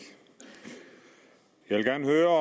jeg vil gerne høre